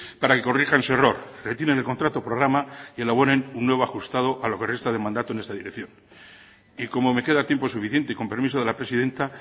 para que corrijan su error retiren el contrato programa y elaboren uno nuevo ajustado a lo que resta de mandato en esta decisión y como me queda tiempo suficiente y con permiso de la presidenta